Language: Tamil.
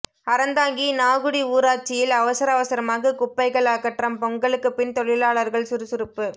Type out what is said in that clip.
அறந்தாங்கி நாகுடி ஊராட்சியில் அவசர அவசரமாக குப்பைகள் அகற்றம் பொங்கலுக்கு பின் தொழிலாளர்கள் சுறுசுறுப்பு